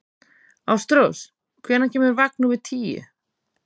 Ástrós, hvenær kemur vagn númer tíu?